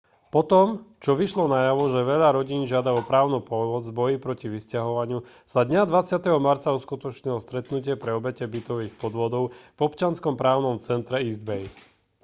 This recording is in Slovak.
potom čo vyšlo najavo že veľa rodín žiada o právnu pomoc v boji proti vysťahovaniu sa dňa 20. marca uskutočnilo stretnutie pre obete bytových podvodov v občianskom právnom centre east bay